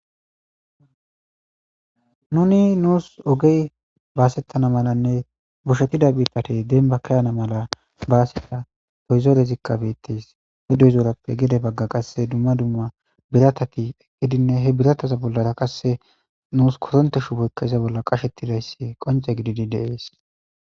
nuni nuus ogey baasettana malanne bushetida bitatey denba kayana mala baaseta pehizoorezikka beettes hidoyzourappe gede bagga qasse dumma dumma biratati eqqidinne he birataza bollara qasse nuus kotonte shuboykka iza bolla qashettidayssi qonce gididi de7ees